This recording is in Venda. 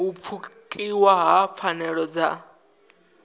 u pfukiwa ha pfanelo dza